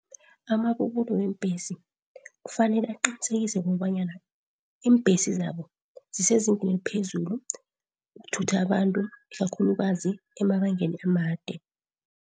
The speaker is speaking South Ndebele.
Amabubulo weembhesi kufanele aqinisekise kobanyana iimbhesi zabo zisezingeni eliphezulu ukuthutha abantu ikakhulukazi emabangeni amade.